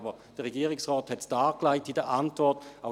Der Regierungsrat hat es aber in der Antwort dargelegt.